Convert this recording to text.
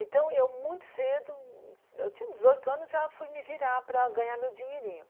Então eu muito cedo, eu tinha dezoito anos, já fui me virar para ganhar meu dinheirinho.